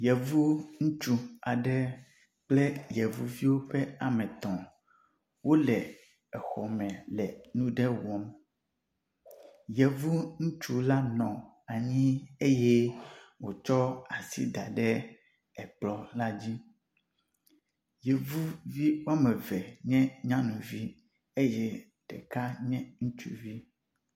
Yevu ŋutsu aɖe kple yevuviwo ƒe ametɔ̃ wóle exɔme le nuɖe wɔm yevu nutsu la nɔ anyi eye wotsɔ asi daɖe ekplɔ la dzi yevuvi wameve nye nyanuvi eye ɖeka nye ŋutsuvi